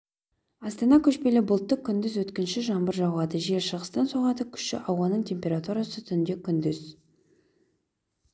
астана көшпелі бұлтты күндіз өткінші жаңбыр жауады жел шығыстан соғады күші ауаның температурасы түнде күндіз